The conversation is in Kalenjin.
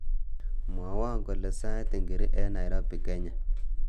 Mwowo kole sait ingiri eng Nairobi, Kenya